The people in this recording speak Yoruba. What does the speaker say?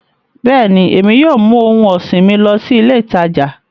Bẹ́ẹ̀ni, Emi yóò mu ohun ọsin mi lọ si ile itaja